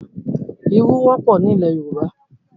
Ìrù wọ́pọ̀ ni ilẹ̀ Yorùbá.